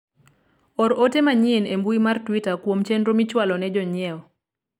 or ote manyien e mbui mar twita kuom chenro michwalo ne jonyiewo